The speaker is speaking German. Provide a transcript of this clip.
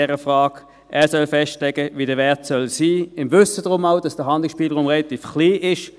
Er soll festlegen, wie der Wert sein soll, auch im Wissen darum, dass der Handlungsspielraum relativ klein ist.